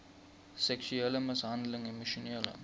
seksuele mishandeling emosionele